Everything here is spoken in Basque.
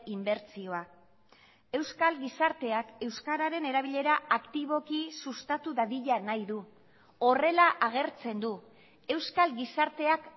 inbertsioa euskal gizarteak euskararen erabilera aktiboki sustatu dadila nahi du horrela agertzen du euskal gizarteak